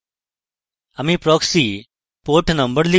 আমি proxy port number লিখব